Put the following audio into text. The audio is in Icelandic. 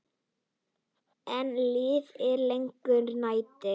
Enn lifir lengi nætur.